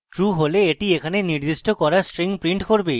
true হলে এটি এখানে নির্দিষ্ট করা string print করবে